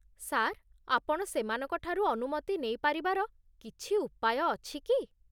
Sir, ଆପଣ ସେମାନଙ୍କଠାରୁ ଅନୁମତି ନେଇପାରିବାର କିଛି ଉପାୟ ଅଛି କି?